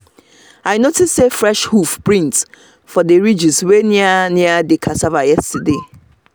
i notice say fresh hoof print for the ridges wey near near the cassava yesterday